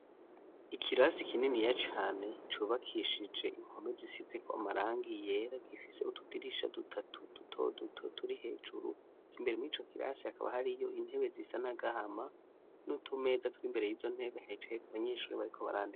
Ikirasi kininiya cane cubakishije inkome zisiziko amarangi yera gifise utudirisha dutatu duto duto turi hejuru imbere mu ico kirasi hakaba hari yo intebe zisa nagahama n'utumeza turi imbere y'izo ntebe hicayeko abanyeshuri bariko barandika.